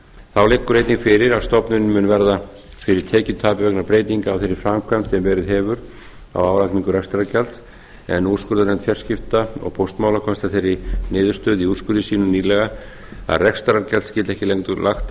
þá liggur einnig fyrir að stofnunin mun verða fyrir tekjutapi vegna breytinga á þeirri framkvæmd sem verið hefur á álagningu rekstrargjalds en úrskurðarnefnd fjarskipta og póstmála komst að þeirri niðurstöðu í úrskurði sínum nýlega að rekstrargjald skyldi ekki lengur lagt